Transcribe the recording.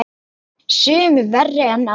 Sumir verri en aðrir.